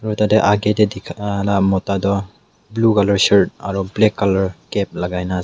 ekta teh age teh dikha lah mota tu blue colour shirt aru black colour Cap lagai na ase.